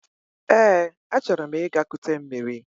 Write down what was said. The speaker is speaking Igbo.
Eé, achọrọ m ịga kute mmiri.